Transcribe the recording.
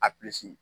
A